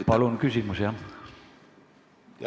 Aitäh!